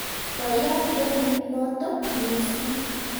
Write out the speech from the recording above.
Koyaaa gemit notok missing